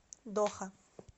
доха